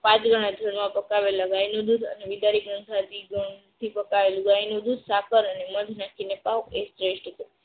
પાંચ ગણા ગોડમાં ગાયનું દૂધ અને પકાવેલ ગાયનું દૂધ સાકર અને મધ નાખીને પાવો એ શ્રેષ્ઠ છે.